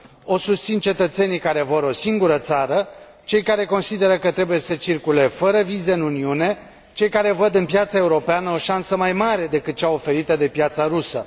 O susțin cetățenii care vor o singură țară, cei care consideră că trebuie să circule fără vize în Uniune, cei care văd în piața europeană o șansă mai mare decât cea oferită de piața rusă.